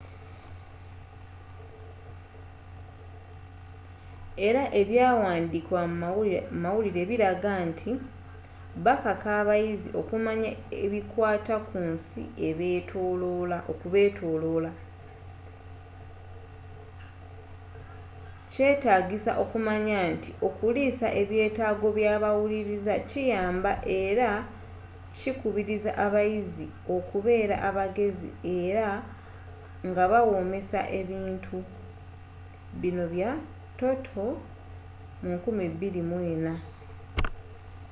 era ebyawandiikiddwa mu mawulire biraga nti bakaka abayizi okumanya ebikwata ku nsi okubeetolola”. kyetaagisa okumanya nti okuliisa ebyetaago byabawuliriza kiyamba era kikubiriza abayizi okubeera abagezi era ngabawoomesa ebintu toto,2004